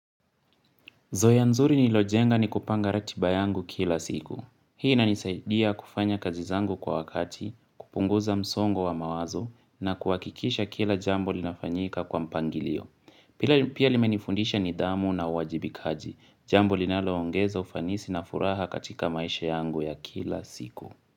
Zoea nzuri nilojenga ni kupanga ratiba yangu kila siku. Hii inanisaidia kufanya kazi zangu kwa wakati, kupunguza msongo wa mawazo na kuhakikisha kila jambo linafanyika kwa mpangilio. Pia limenifundisha nidhamu na uwajibikaji, jambo linaloongeza ufanisi na furaha katika maisha yangu ya kila siku.